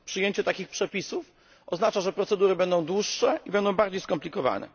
Przyjęcie takich przepisów oznacza, że procedury będą dłuższe i bardziej skomplikowane.